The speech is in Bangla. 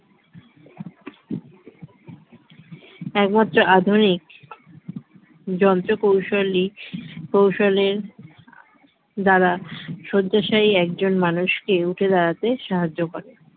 একমাত্র আধুনিক যন্ত্রকৌশল ই কৌশলের দ্বারা শয্যাশায়ী একজন মানুষকে উঠে দাঁড়াতে সাহায্য করে